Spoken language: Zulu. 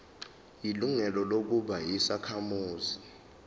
ilungelo lokuba yisakhamuzi